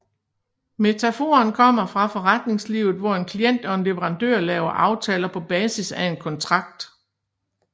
Metaforen kommer fra forretningslivet hvor en klient og en leverandør laver aftaler på basis af en kontrakt